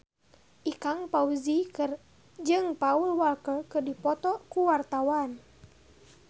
Ikang Fawzi jeung Paul Walker keur dipoto ku wartawan